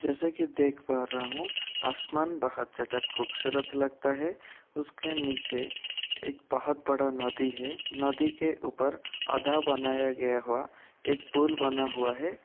जैसे की देख पा रहा हूँ आसमान बहुत ज्यादा खूबसूरत लगता है। उसके नीचे एक बहुत बड़ा नदी है। नदी के ऊपर आधा बनाया गया हुआ एक पूल बना हुआ है।